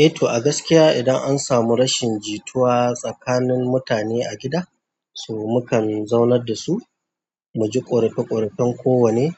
Eh to a gaskiya idan an samu rashin jituwa tsakanin mutane a gida, so mukan zaunar da su, mu ji ƙorafe ƙorafen kowane,